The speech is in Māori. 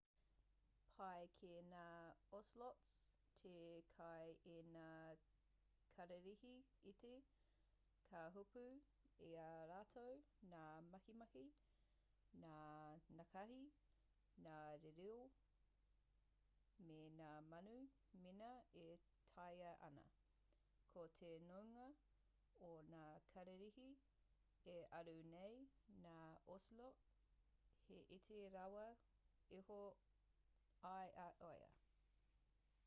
pai ki ngā ocelots te kai i ngā kararehe iti ka hopu i a rātou ngā makimaki ngā nākahi ngā rīroi me ngā manu mēnā e taea ana ko te nuinga o ngā kararehe e aru nei ngā ocelot he iti rawa iho i a ia